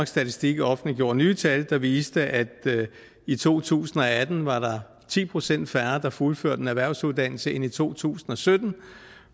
statistik offentliggjorde nye tal der viser at i to tusind og atten var der ti procent færre der fuldførte en erhvervsuddannelse end i to tusind og sytten